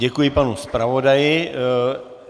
Děkuji panu zpravodaji.